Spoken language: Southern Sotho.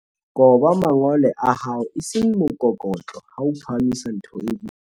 koba mangole a hao e seng mokokotlo ha o phahamisa ntho e boima